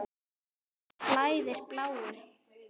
Mér blæðir bláu.